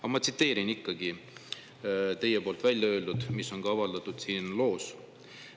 Aga ma tsiteerin teie välja öeldut, mis on ka avaldatud siin loos. "